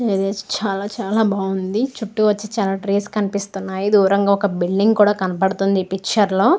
ఈ ట్రీస్ చాలా చాలా బాగుండి చుట్టూ వచ్చి చాలా ట్రీస్ కనిపిస్తున్నాయ్ దూరంగా ఒక బిల్డింగ్ కూడా కనబడతుంది ఈ పిక్చర్ లో.